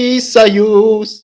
и союз